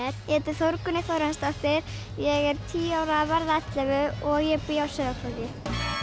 ég heiti Þórgunnur Þórarinsdóttir ég er tíu ára að verða ellefu og ég bý á Sauðárkróki